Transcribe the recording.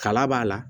Kala b'a la